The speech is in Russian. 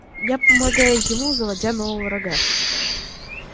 я помогаю ему заводя нового врага